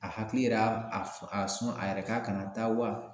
A hakili yɛrɛ y'a a f a sɔn a yɛrɛ k'a kana taa wa